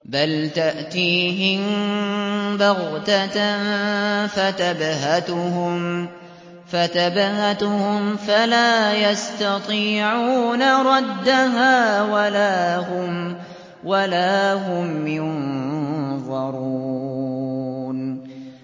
بَلْ تَأْتِيهِم بَغْتَةً فَتَبْهَتُهُمْ فَلَا يَسْتَطِيعُونَ رَدَّهَا وَلَا هُمْ يُنظَرُونَ